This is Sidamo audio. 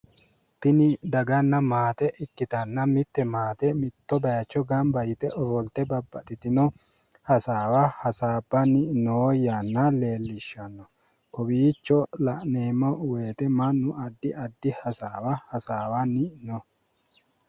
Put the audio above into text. Tuni daganna maate ikmitanna mitte maate mitto bayichio ofolte hasaabbanni noo yanna leellishshanno. Kowiicho la'neemmo woyite mannu addi addi hasaawa hasaawanni no